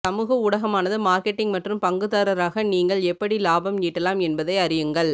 சமூக ஊடகமானது மார்க்கெட்டிங் மற்றும் பங்குதாரராக நீங்கள் எப்படி லாபம் ஈட்டலாம் என்பதை அறியுங்கள்